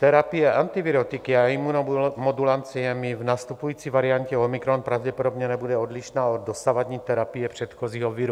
Terapie antivirotiky a imunomodulanciemi v nastupující variantě omikron pravděpodobně nebude odlišná od dosavadní terapie předchozího viru.